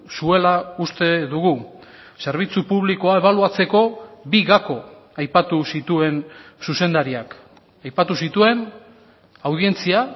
zuela uste dugu zerbitzu publikoa ebaluatzeko bi gako aipatu zituen zuzendariak aipatu zituen audientzia